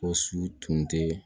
O su tun tɛ